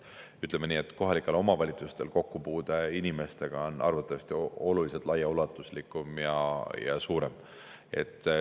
Ütleme nii, et kohalikel omavalitsustel on kokkupuude inimestega arvatavasti oluliselt laiaulatuslikum ja suurem.